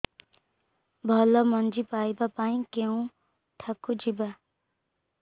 ଭଲ ମଞ୍ଜି ପାଇବା ପାଇଁ କେଉଁଠାକୁ ଯିବା